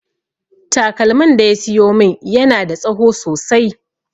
Takalmin da ya siyo min yana da tsaho sosai